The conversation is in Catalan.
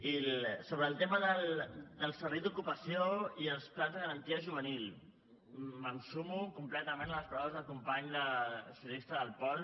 i sobre el tema del servei d’ocupació i els plans de garantia juvenil em sumo completament a les paraules del company socialista del pol